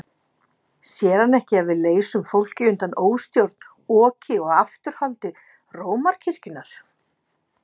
Sér hann ekki að við leysum fólkið undan óstjórn, oki og afturhaldi Rómarkirkjunnar?